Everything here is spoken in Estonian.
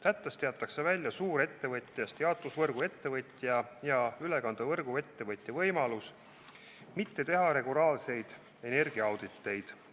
Sättest jäetakse välja suurettevõtjast jaotusvõrguettevõtja ja ülekandevõrguettevõtja võimalus mitte teha regulaarseid energiaauditeid.